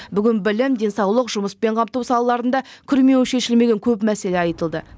бүгін білім денсаулық жұмыспен қамту салаларында күрмеуі шешілмеген көп мәселе айтылды